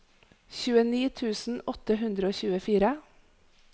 tjueni tusen åtte hundre og tjuefire